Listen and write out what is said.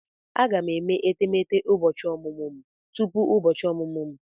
Aga m eme etemeete ụbọchị ọmụmụ m tupu ụbọchị ọmụmụ m.